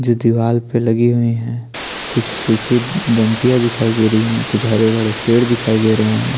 जो दीवार पे लगी हुई है कुछ सुखी डंडियाँ दिखाई दे रही है कुछ हरेभरे पेड़ दिखाई दे रहे है।